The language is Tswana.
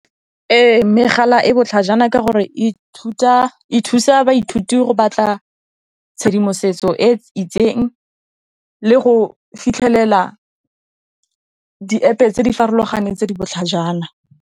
Ee, megala e botlhajana ka gore e thusa baithuti go batla tshedimosetso e itseng le go fitlhelela di App tse di farologaneng tse di botlhajana.